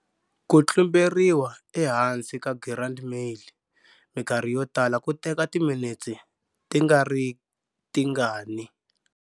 Ku tlumberiwa ehansi ka girandi male mikarhi yotala ku teka timinetse tingaritingani.